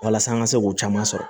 Walasa an ka se k'o caman sɔrɔ